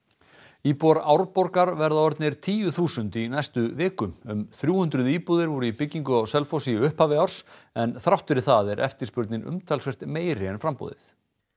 íbúar Árborgar verða orðnir tíu þúsund talsins í næstu viku um þrjú hundruð íbúðir voru í byggingu á Selfossi í upphafi ársins en þrátt fyrir það er eftirspurnin umtalsvert meiri en framboðið